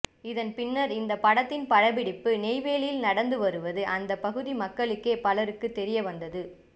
இதன் பின்னர் இந்த படத்தின் படப்பிடிப்பு நெய்வேலியில் நடந்து வருவது அந்த பகுதி மக்களுக்கே பலருக்கு தெரிய வந்தது